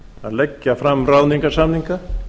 að leggja fram ráðningarsamninga